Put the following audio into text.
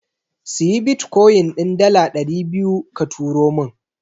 Siyi Bitkoyin din dala ɗari biyu ka turo min.